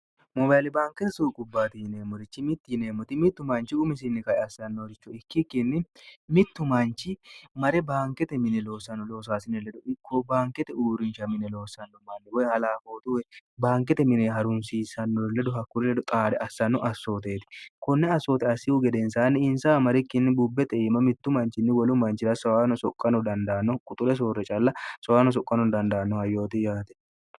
mobaili baankete suuqubbaate yineemmorichi mitti yineemmoti mittu manchi umisinni kae assannohoricho ikkikkinni mittu manchi mare baankete mine loossanno loosaasine ledo ikko baankete uurincha mine loossanno manni woy halafootuwe baankete mine harunsiisannore ledo hakkuri ledo xaade assanno assooteeti konne assoote assihu gedensaanni insa amarikkinni bubbexe eima mittu manchinni wolu manchira sono soqqano dandaanno quxule soorre calla soyaano soqqano dandaanno ha yooti yaate